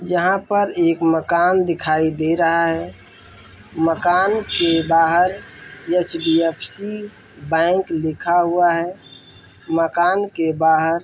यहाँ पर एक मकान दिखाई दे रहा है मकान के बाहर H D F C bank लिखा हुआ है मकान के बाहर--